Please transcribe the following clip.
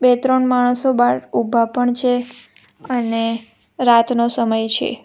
બે ત્રણ માણસો બાહર ઉભા પણ છે અને રાતનો સમય છે.